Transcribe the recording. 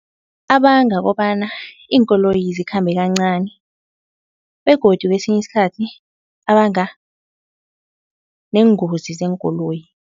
Abanga kobana iinkoloyi zikhambe kancani begodu kwesinye isikhathi abanga neengozi zeenkoloyi.